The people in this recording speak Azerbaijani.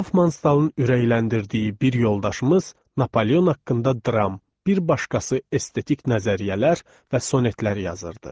Hoffmanstalın ürəkləndirdiyi bir yoldaşımız Napoleon haqqında dram, bir başqası estetik nəzəriyyələr və sonetlər yazırdı.